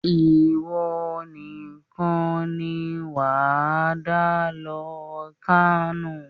Ìwọ níkàn ni wà á dá lọ Kano